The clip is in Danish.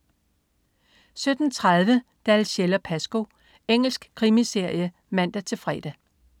17.30 Dalziel & Pascoe. Engelsk krimiserie (man-fre)